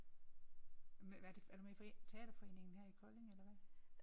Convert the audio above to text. Men hvad er det er du med i teaterforeningen her i Kolding eller hvad?